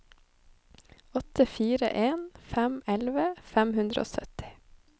åtte fire en fem elleve fem hundre og sytti